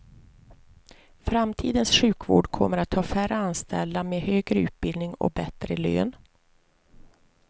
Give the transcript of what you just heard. Framtidens sjukvård kommer att ha färre anställda med högre utbildning och bättre lön.